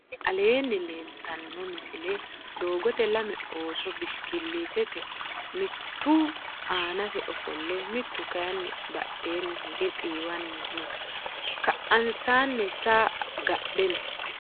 tinni aleni leltano misile. dogote lame ooso bishi kilitete miitu aanase ofoole mittu kayini badheni hige xiwanni noo. ka'ansani saa gadhe noo.